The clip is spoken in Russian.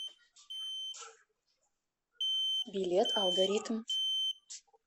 билет алгоритм